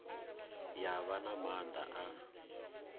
ya vha na maanḓa a